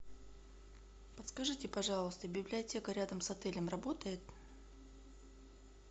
подскажите пожалуйста библиотека рядом с отелем работает